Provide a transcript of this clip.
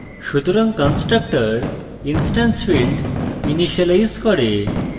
সুতরাং constructor instance field initialise করে